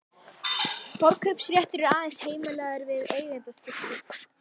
Forkaupsréttur er aðeins heimilaður við eigendaskipti.